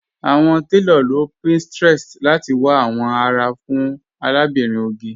Awọn tẹlọ ló pinterest láti wà awọn ará fún Àlàbírín Ògè.